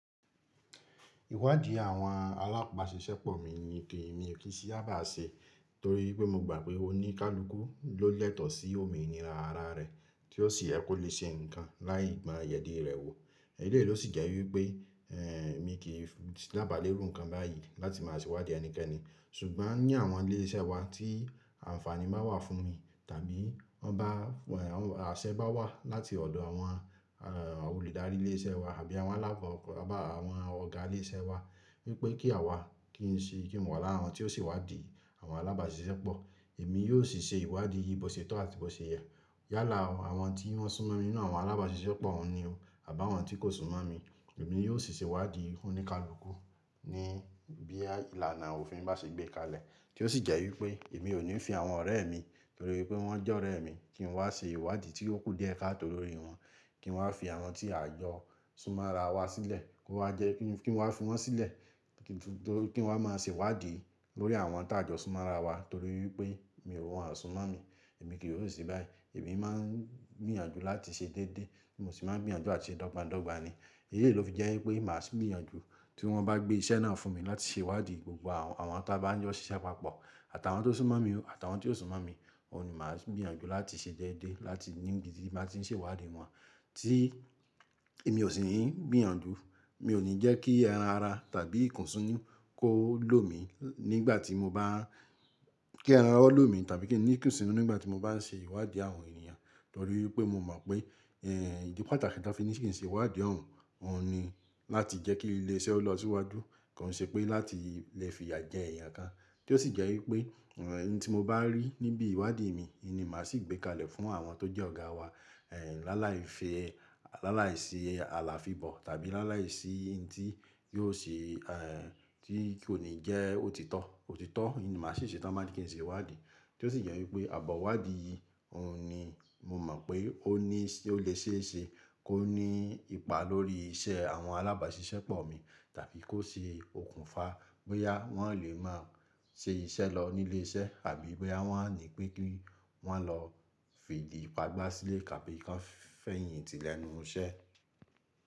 Ìwádìí àwọn alábàáṣiṣẹ́pọ̀ mi ni kí èmi kí i sì bá ṣe torí pé mo gbà pé oníkálukú ló lẹ́tọ̀ sí òmìnira ara rẹ, tí ó sì yẹ kó lè ṣe nǹkan láì gba ìyèdí rẹ wò. Èyí lè ló sì jẹ́ wípé mi kì í lábàlé rú nǹkan báyìí láti má ṣe ìwádìí ẹnikẹ́ni. Ṣùgbọ́n ní àwọn ilé iṣẹ́ wa tí ànfàní bá ń wà fún mi tàbí àṣẹ bá wà láti ọ̀dọ̀ àwọn olùdarí ilé iṣẹ́ wa àbí àwọn alábọ̀ọ́ àbá àwọn ọ̀gá ilé iṣẹ́ wa wípé kí àwa kí n wà lára àwọn tí ó sì wádìí àwọn alábàáṣiṣẹ́pọ̀, èmi yóò sì ṣe ìwádìí yìí bó ṣé tọ́ àti bó ṣé yẹ. Yálà o, àwọn tí wọ́n súnmọ́ mi nínú àwọn alábàáṣiṣẹ́pọ̀ wọ́n ni o, àbá àwọn tí kò súnmọ́ mi, èmi yóò sì ṣe ìwádìí oníkálukú ní bí ìlànà òfin bá ṣe gbé kalẹ̀. Tí ó sì jẹ́ wípé èmi ò ní fi àwọn ọ̀rẹ́ mi torí pé wọ́n jẹ́ ọ̀rẹ́ mi kí n wá ṣe ìwádìí tí ó kù díẹ̀ ká tó lórí wọn, kí n wá fi àwọn tí a jọ súnmọ́ ara wa sílẹ̀ kí n wá máa ṣe ìwádìí lórí àwọn tí a jọ súnmọ́ ara wa torí pé èmi mọ̀ wọ́n ò súnmọ́ mi. Ẹ̀mi kì yóò ṣe báyìí. Èmi máa ń gbìyànjú láti ṣe déédéé, mo sì máa ń gbìyànjú àti ṣe dọ́gba dọ́gba ni. Èyí lè ló fi jẹ́ wípé màá sì ń gbìyànjú tí wọ́n bá gbé iṣẹ́ náà fún mi láti ṣe ìwádìí gbogbo àwọn tí a bá ń jọ ṣiṣẹ́ papọ̀ àtàwọn tó súnmọ́ mi àtàwọn tí ò súnmọ́ mi, òun ni màá sì ń gbìyànjú láti ṣe déédéé láti níbi tí màá ti ń ṣe ìwádìí wọn. Tí èmi ò sì ń gbìyànjú, mi ò ní jẹ́ kí eran ara tàbí ìkùnsínú kó lò mi nígbà tí mo bá, kí ara ó lò mi tàbí kí ìkùnsínú nígbà tí mo bá ń ṣe ìwádìí àwọn ènìyàn torí pé mo mọ̀ pé ìdí pàtàkì tí a fi ní kì í ṣe ìwádìí òun, òun ni láti jẹ́ kí ilé iṣẹ́ ó lọ síwájú kò ṣe pé láti lè fi ìyà jẹ ẹ̀yà kan. Tí ó sì jẹ́ wípé ohun tí mo bá rí níbi ìwádìí mi, ìmi màá sì gbé kalẹ̀ fún àwọn tó jẹ́ ọ̀gá wa. Láláì fi, láláì ṣe àlàáfibò tàbí láláì ṣe ohun tí kò ní jẹ́ òtítọ́, òtítọ́ ni màá sì ṣètọ́ má sì kí n ṣe ìwádìí. Tí ó sì jẹ́ wípé àbọ̀wádìí yìí òun ni mo mọ̀ pé ó lè ṣe é ṣe kó ní ipa lórí iṣẹ́ àwọn alábàáṣiṣẹ́pọ̀ mi tàbí kó ṣe òkùnfà pé yá wọ́n ó lè máa ṣe iṣẹ́ lọ nílé iṣẹ́ àbí pé yá wọ́n á ní pé kí wọ́n lọ fìdípa gbá sílé tàbí kí wọ́n fẹ̀yìntì lẹ́nu iṣẹ́.